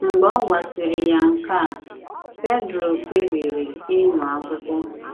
Mgbe ọ gwasịrị ya nke a, Pedro kpebiri ịmụ akwụkwo